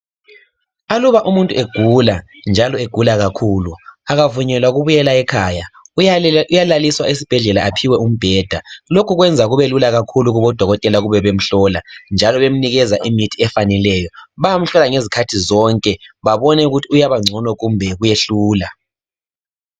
aluba umuntu egula njalo egula kakhulu akavunyelwa ukubuyela ekhaya uyalaliswa esibhedlela aphiwe umbheda lokhu kwenza kubelula kakhulu kubodokotela ukuba bemhlola njalo bemnikeza imithi efaneleyo bayamhlola ngezikhathi zonke babone ukuthi uyabancono kumbe kuyehlula